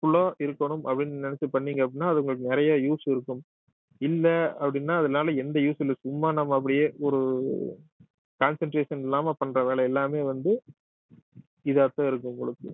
useful ஆ இருக்கணும் அப்படின்னு நினைச்சு பண்ணீங்க அப்படின்னா அது உங்களுக்கு நிறைய use இருக்கும் இல்லை அப்படின்னா அதனால எந்த use உம் இல்லை சும்மா நம்ம அப்படியே ஒரு concentration இல்லாம பண்ற வேலை எல்லாமே வந்து இதாத்தான் இருக்கும் உங்களுக்கு